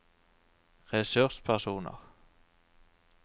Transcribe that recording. ressurspersoner